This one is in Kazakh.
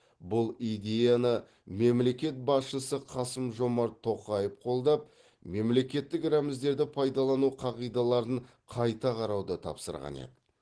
бұл идеяны мемлекет басшысы қасым жомарт тоқаев қолдап мемлекеттік рәміздерді пайдалану қағидаларын қайта қарауды тапсырған еді